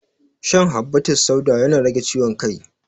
Shan habbatussauda yana rage ciwon kai